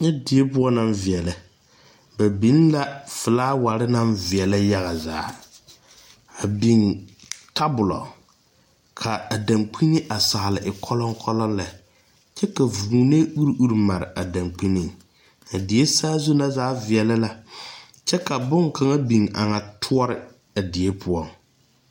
Nyɛ die poʊ na viɛlɛ. Ba biŋ la fulaware na viɛle yaga zaa. A biŋ tabulɔ. Ka a dangbene a saali e koluŋkoluŋ lɛ. Kyɛ ka vuune ure ure mare a dangbene. A die saazu na zaa viɛlɛ la. Kyɛ ka boŋ kanga biŋ a na tuore a die poʊŋ.